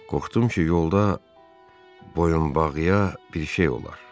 qorxdum ki, yolda boyunbağıya bir şey olar.